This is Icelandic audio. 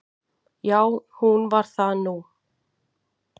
Já, hún varð það nú.